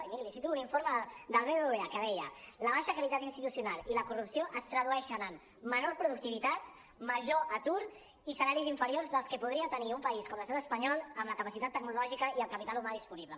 i miri li cito un informe del bbva que deia la baixa qualitat institucional i la corrupció es tradueixen en menor productivitat major atur i salaris inferiors dels que podria tenir un país com l’estat espanyol amb la capacitat tecnològica i el capi·tal humà disponible